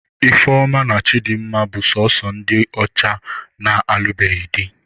Ifeoma na Chidinma bụ sọọsọ ndị ọcha na-alụbeghị di.